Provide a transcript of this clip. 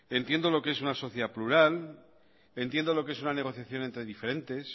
entiendo lo que es una sociedad plural entiendo lo que es unan negociación entre diferentes